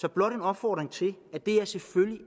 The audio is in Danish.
er blot en opfordring til at det her selvfølgelig